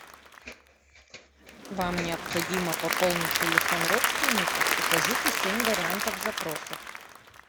вам необходимо пополнить телефон родственника укажите семь вариантов запросов